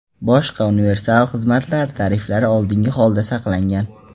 Boshqa universal xizmatlar tariflari oldingi holida saqlangan.